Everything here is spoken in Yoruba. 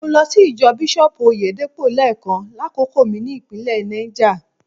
Mo lọ sí ìjọ Bísọ́ọ̀bù Oyèdépò lẹ́ẹ̀kan lákòókò mi ní ìpínlẹ̀ Náìjà.